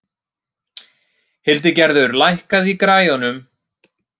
Hildigerður, lækkaðu í græjunum.